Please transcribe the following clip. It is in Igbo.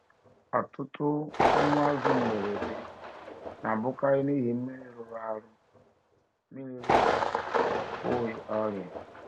Ọtụtụ ọnwụ azụ mberede na-abụkarị n’ihi mmiri rụrụ arụ, mmiri rụrụ arụ, ọ bụghị ọrịa.